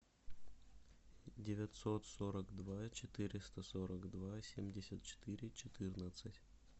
девятьсот сорок два четыреста сорок два семьдесят четыре четырнадцать